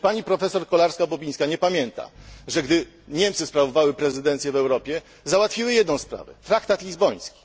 Czy Pani Profesor Kolarska Bobińska nie pamięta, że gdy Niemcy sprawowały prezydencję w Europie, załatwiły jedną sprawę Traktat Lizboński?